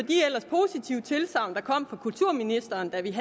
jeg tilsagn der kom fra kulturministeren da vi